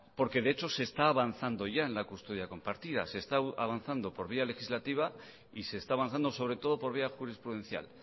porque de hecho se está avanzando ya en la custodia compartida se está avanzando por vía legislativa y se está avanzando sobre todo por vía jurisprudencial